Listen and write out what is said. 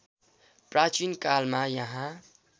प्राचीन कालमा यहाँ